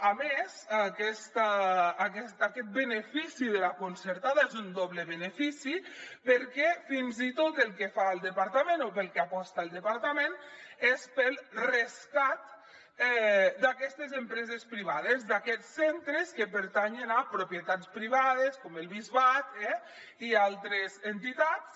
a més aquest benefici de la concertada és un doble benefici perquè fins i tot pel que aposta el departament és pel rescat d’aquestes empreses privades d’aquests centres que pertanyen a propietats privades com el bisbat i altres entitats